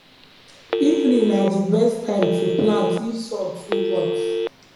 evening na d best time to plant if sun too hot